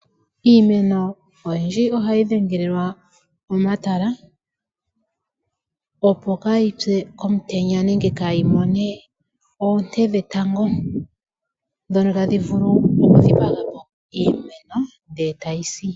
Iimeno oyindji oha yi dhengelelwa omatala opo kaa yi pye omutenya nenge kaa yi mone oonte dhetango, ndhono ta dhi vulu oku dhipagapo iimeno nde ta yi si.